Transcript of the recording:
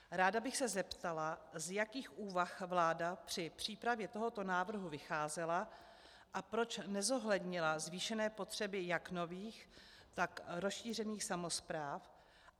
Ráda bych se zeptala, z jakých úvah vláda při přípravě tohoto návrhu vycházela a proč nezohlednila zvýšené potřeby jak nových, tak rozšířených samospráv.